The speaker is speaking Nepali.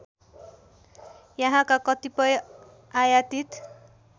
यहाँका कतिपय आयातित